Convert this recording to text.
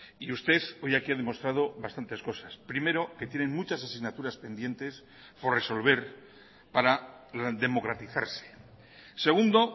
y usted hoy aquí ha demostrado bastantes cosas primero que tienen muchas asignaturas pendientes por resolver para democratizarse segundo